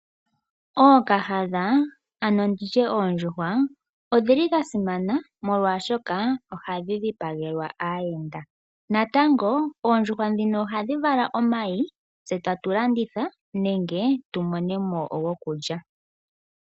Ookahandha ano nditye oondjuhwa ondhili dha simana molwaashoka ohandhi dhipagelwa aayenda natango oondjuhwa dhino ohandhi vala omayi tse tatu landitha nenge gokulya.